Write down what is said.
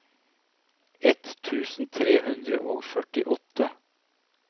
ett tusen tre hundre og førtiåtte